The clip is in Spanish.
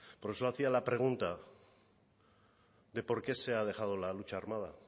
por eso hacía la pregunta de por qué se ha dejado la lucha armada